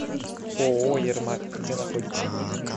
ооо ермак где находится